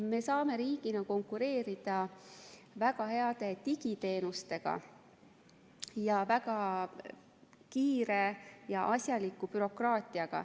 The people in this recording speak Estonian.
Me saame riigina konkureerida väga heade digiteenustega ja väga kiire ja asjaliku bürokraatiaga.